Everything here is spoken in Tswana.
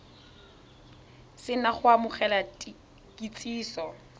se na go amogela kitsiso